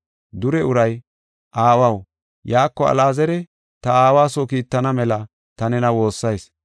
“Dure uray, ‘Aawaw, yaako Alaazara ta aawa soo kiittana mela ta nena woossayis.